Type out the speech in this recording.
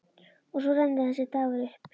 Og svo rennur þessi dagur upp.